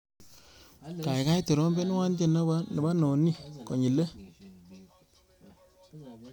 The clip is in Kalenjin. Kaikai trompenwa tyendo nebo nonini konyilei.